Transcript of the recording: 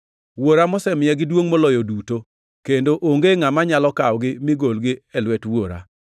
Wuora mosemiyagi duongʼ moloyo duto, kendo onge ngʼama nyalo kawogi mi golgi e lwet Wuora.